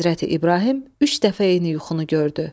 Həzrəti İbrahim üç dəfə eyni yuxunu gördü.